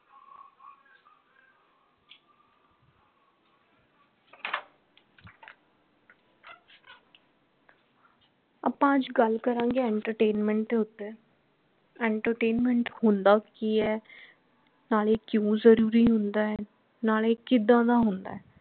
ਆਪਾ ਅਜ ਗੱਲ ਕਰਾਂਗੇ entertainment ਦੇ ਉਤੇ entertainment ਹੁੰਦਾ ਕਿ ਹੈ ਨਾਲੇ ਕਿਉਂ ਜਰੂਰੀ ਹੁੰਦਾ ਹੈ ਨਾਲੇ ਕਿਦਾਂ ਦਾ ਹੁੰਦਾ ਹੈ